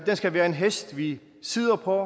skal være en hest vi sidder på